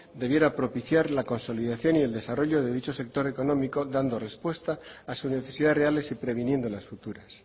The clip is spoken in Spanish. debiera propiciar la consolidación y el desarrollo de dicho sector económico dando respuesta a sus necesidades reales y previniendo las futuras